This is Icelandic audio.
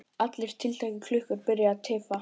Allar tiltækar klukkur byrja að tifa.